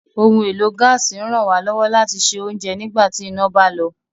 Ohun èlò gaasi ń ràn wá lọ́wọ́ láti sè ounjẹ nígbà tí iná bá lọ